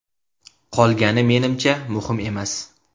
Qolgani, menimcha, muhim emas!